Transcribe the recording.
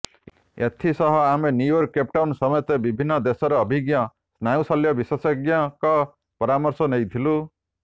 ଏଥିସହ ଆମେ New York Cape Town ସମେତ ବିଭିନ୍ନ ଦେଶର ଅଭିଜ୍ଞ ସ୍ନାୟୁଶଲ୍ୟ ବିଶେଷଜ୍ଞଙ୍କ ପରାମର୍ଶ ନେଇଥିଲୁ